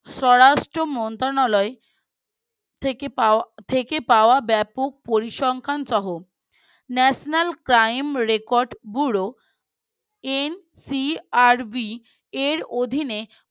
স্বরাষ্ট্র মন্ত্রণালয় থেকে পাওয়া ব্যাপক পরিসংখ্যান সহ National Crime Record BueroNCRB এর অধীনে